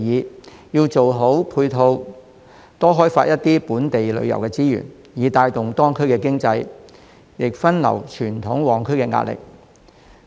我提出要做好配套設施，多開發一些本地旅遊資源，以帶動當區經濟及分流傳統旺區的壓力。